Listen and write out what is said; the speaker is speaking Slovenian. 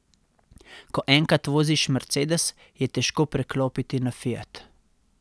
Ko enkrat voziš mercedes, je težko preklopiti na fiat.